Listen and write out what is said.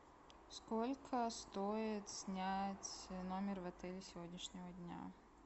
сколько стоит снять номер в отеле сегодняшнего дня